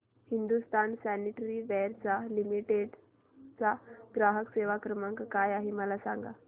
Hindustan sanitaryware limited चा ग्राहक सेवा क्रमांक काय आहे मला सांगा